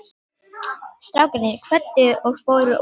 Strákarnir kvöddu og fóru út.